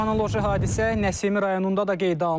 Anoloji hadisə Nəsimi rayonunda da qeydə alınıb.